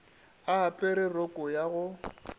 a apere roko ya go